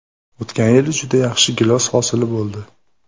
O‘tgan yili juda yaxshi gilos hosili bo‘ldi.